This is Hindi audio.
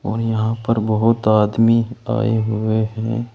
और यहां पर बहोत आदमी आए हुए हैं।